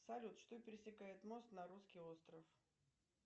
салют что пересекает мост на русский остров